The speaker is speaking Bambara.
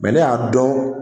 ne y'a dɔn